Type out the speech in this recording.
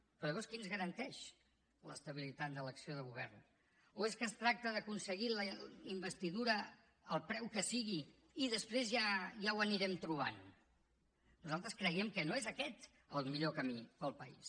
però llavors qui ens garanteix l’estabilitat de l’acció de govern o és que es tracta d’aconseguir la investidura al preu que sigui i després ja ho anirem trobant nosaltres creiem que no és aquest el millor camí per al país